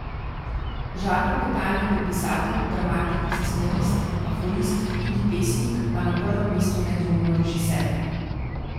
Žarko Petan je bil pisatelj, dramatik, scenarist, aforist, tudi pesnik, a na prvem mestu nedvomno režiser.